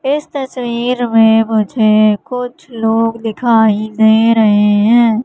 इस तस्वीर में मुझे कुछ लोग दिखाई दे रहे हैं।